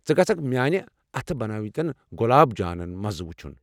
ژٕ گژھكھ میٲنہِ اتھہٕ بنٲوِمٕتین گُلاب جانَن مزٕ وُچھُن ۔